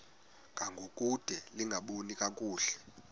ngangokude lingaboni kakuhle